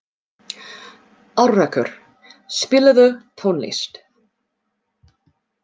Alrekur, spilaðu tónlist.